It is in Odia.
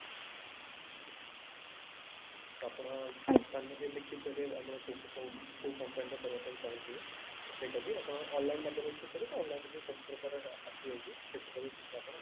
ତ ଆପଣ company ରେ ଦେଖିଥିବେ ଆମର କୋଉ କୋଉ କୋଉ company ରେ କରିବା ପାଇଁ ଚାହୁଁଥିବେ ସେଇଟା ବି ଆପଣ ଅନଲାଇନ ମାଧ୍ୟମରେ ଯଦି କରିବେ ତ online ରେ ବି ସବୁ ପ୍ରକାରରେ ଆସିଯାଉଛି ସେଥିରେ ବି ଆପଣ